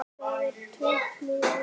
Það er tvennt mjög ólíkt.